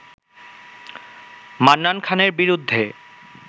মান্নান খানের বিরুদ্ধে